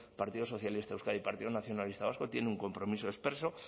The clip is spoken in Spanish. partido socialista de euskadi partido nacionalista vasco tiene un compromiso expreso